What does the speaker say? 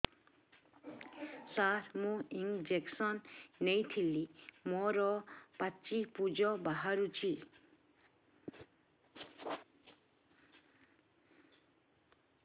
ସାର ମୁଁ ଇଂଜେକସନ ନେଇଥିଲି ମୋରୋ ପାଚି ପୂଜ ବାହାରୁଚି